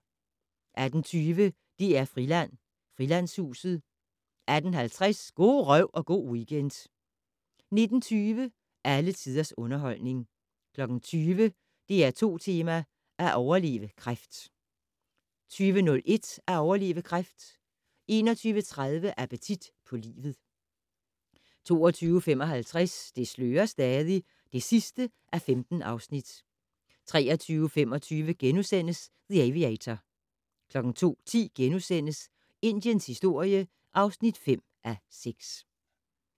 18:20: DR-Friland: Frilandshuset 18:50: Go' røv & go' weekend 19:20: Alle tiders underholdning 20:00: DR2 Tema: At overleve kræft 20:01: At overleve kræft 21:30: Appetit på livet 22:55: Det slører stadig (15:15) 23:25: The Aviator * 02:10: Indiens historie (5:6)*